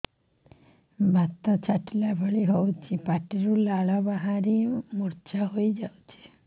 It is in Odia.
ବାତ ଛାଟିଲା ଭଳି ହଉଚି ପାଟିରୁ ଲାଳ ବାହାରି ମୁର୍ଚ୍ଛା ହେଇଯାଉଛି